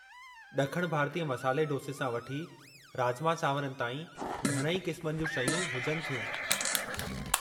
ॾखणु भारतीय मसाले डोसे सां वठी राजमा चावरनि ताईं घणई क़िस्मनि जूं शयूं हुजनि थियूं।